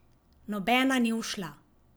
Nobena ni ušla.